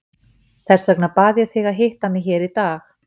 Þess vegna bað ég þig að hitta mig hér í dag.